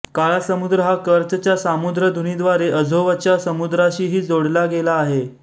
काळा समुद्र हा कर्चच्या सामुद्रधुनीद्वारे अझोवच्या समुद्राशीही जोडला गेला आहे